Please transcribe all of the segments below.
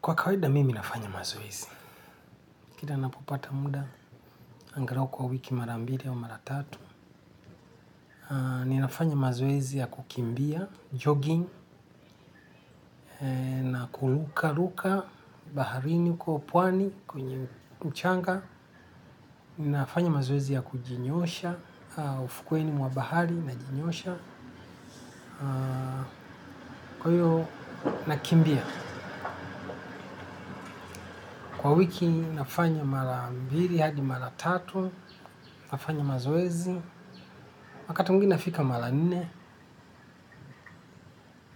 Kwa kawaida, mimi nafanya mazoezi. Kila ninapopata muda, angalau kwa wiki mara mbili au mara tatu. Ninafanya mazoezi ya kukimbia, jogging, na kurukaruka, baharini uko pwani, kwenye mchanga. Ninafanya mazoezi ya kujinyosha, ufukweni mwabahari najinyosha. Kwa hiyo, nakimbia. Kwa wiki, nafanya mara mbili hadi mara tatu, nafanya mazoezi. Wakati mwingine nafika mara nne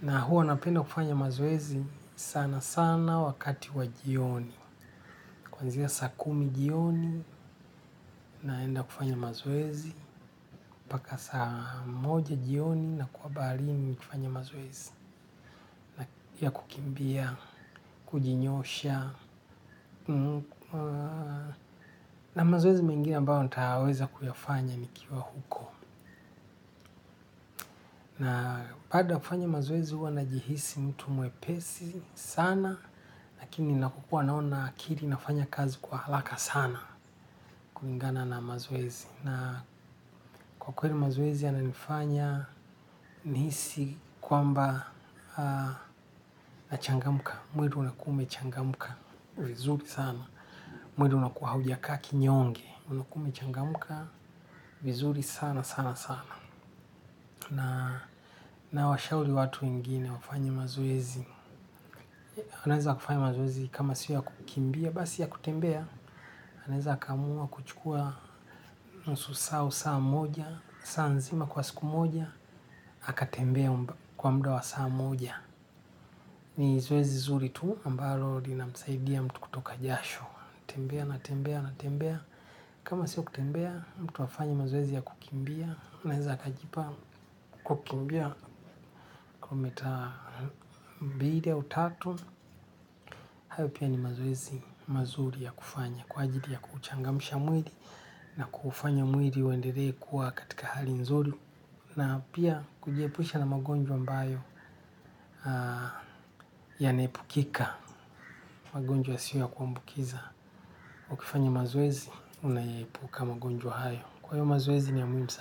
na huwa napenda kufanya mazoezi sana sana wakati wa jioni. Kwanzia saa kumi jioni naenda kufanya mazoezi. Mpaka saa moja jioni nakuwa baharini nikifanya mazoezi ya kukimbia, kujinyosha. Na mazoezi mengine ambao nitayaweza kuyafanya nikiwa huko. Na baada ya kufanya mazoezi huwa najihisi mtu mwepesi sana. Lakini nakokua naona akili nafanya kazi kwa haraka sana kulingana na mazoezi. Na kwa kweli mazoezi yananifanya nihisi kwamba nachangamka. Mwili unakuwa umechangamka vizuri sana. Mwendo unakua hauja kaa kinyonge. Umekuwa umechangamka vizuri sana sana sana. Na nawashauri watu wengine wafanye mazoezi. Anaeza kufanya mazoezi kama si ya kukimbia. Basi ya kutembea, anaeza akaamua kuchukua nusu saa au saa moja. Saa nzima kwa siku moja, aka tembea kwa muda wa saa moja. Ni zoezi zuri tu, ambalo linamsaidia mtu kutoka jasho. Tembea na tembea na tembea. Kama sio kutembea, mtu afanye mazoezi ya kukimbia. Anaeza akajipanga kukimbia kumeta tatu. Hayo pia ni mazoezi mazuri ya kufanya kwa ajili ya kuchangamsha mwili na kufanya mwili uendele kuwa katika hali nzuri. Na pia kujiepusha na magonjwa ambayo yanaepukika. Magonjwa siyo ya kuambukiza. Ukifanya mazoezi unaepuka magonjwa hayo. Kwa hivyo mazoezi ni ya muhimu sana.